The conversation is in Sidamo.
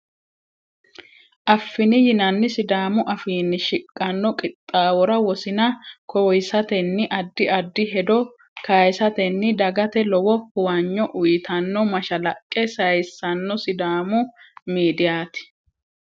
afini yinanni sidaamu afiinni shiqqanno qixxawora wosina kowisatenni addi addi hedo kayisatenni dagate lowo huwanyo uyitanno mashalaqqe sayisanno sidamu miidiyati.